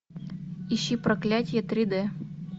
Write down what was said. ищи проклятие три д